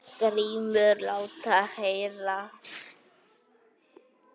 GRÍMUR: Lát heyra!